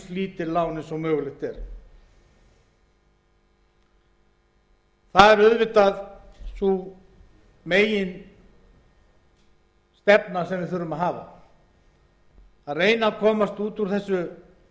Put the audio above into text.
lítil lán og mögulegt er það er sú meginstefna sem við þurfum að hafa til að reyna að komast út úr þessum